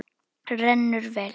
Rennur vel.